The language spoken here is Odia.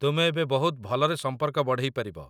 ତୁମେ ଏବେ ବହୁତ ଭଲରେ ସମ୍ପର୍କ ବଢ଼େଇପାରିବ